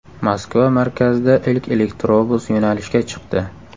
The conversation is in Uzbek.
Moskva markazida ilk elektrobus yo‘nalishga chiqdi.